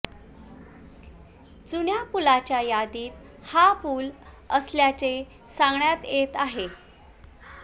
जुन्या पुलांच्या यादीत हा पूल असल्याचे सांगण्यात येत आहे